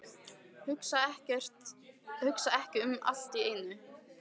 Hugsa ekki um allt í einu.